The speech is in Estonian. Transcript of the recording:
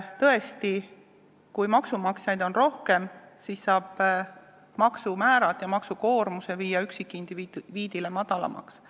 Tõesti, kui maksumaksjaid on rohkem, siis saab üksikindiviidi maksumäärad ja maksukoormuse viia madalamaks.